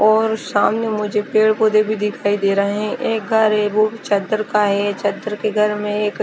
और सामने मुझे पेड़ पौधे भी दिखाई दे रहे है एक वा घर एक अम्म चदर का है चदर के घर में एक--